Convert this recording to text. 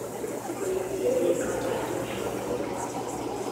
валентина николаевна шаврова